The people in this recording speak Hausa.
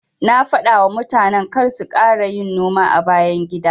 Na dafawa mutanen karsu kara yin noma a bayan gida.